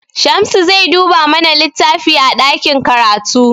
Shamsu zai duba mana littafi a ɗakin karatu.